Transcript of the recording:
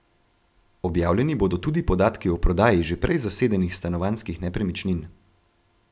Objavljeni bodo tudi podatki o prodaji že prej zasedenih stanovanjskih nepremičnin.